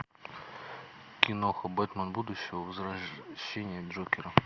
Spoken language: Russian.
киноха бэтмен будущего возвращение джокера